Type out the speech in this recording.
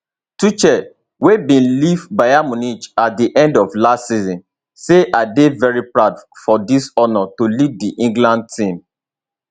tuchel wey bin leave bayern munich at di end of last season say i dey very proud for dis honour to lead di england team